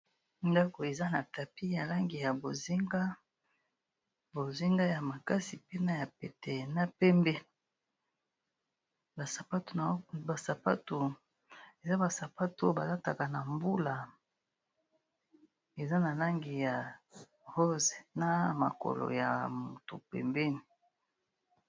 Ndako eza na tapis ya langi ya bozinga, bozinga ya makasi mpe na ya pete na pembe. Ba sapato eza ba sapato oyo ba lataka na mbula eza na langi ya rose, na makolo ya moto pembeni.